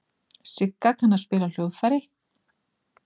Sigga kann að spila á hljóðfæri.